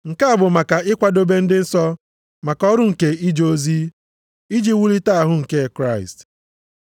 Nke a bụ maka ikwadobe ndị nsọ maka ọrụ nke ije ozi, iji wulite ahụ nke Kraịst;